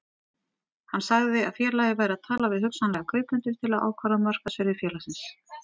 Hann sagði að félagið væri að tala við hugsanlega kaupendur til að ákvarða markaðsvirði félagsins.